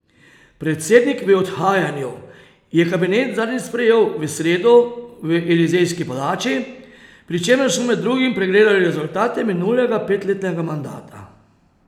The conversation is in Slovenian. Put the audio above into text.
Predsednik v odhajanju je kabinet zadnjič sprejel v sredo v Elizejski palači, pri čemer so med drugim pregledali rezultate minulega petletnega mandata.